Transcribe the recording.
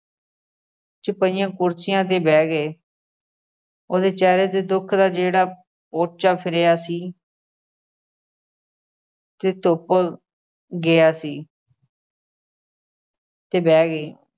'ਚ ਪਈਆਂ ਕੁਰਸੀਆਂ ਤੇ ਬਹਿ ਗਏ ਉਹਦੇ ਚਿਹਰੇ ਤੇ ਦੁੱਖ ਦਾ ਜਿਹੜਾ ਪੋਚਾ ਫਿਰਿਆ ਸੀ ਤੇ ਧੁੱਪ ਗਿਆ ਸੀ। ਤੇ ਬਹਿ ਗਈ।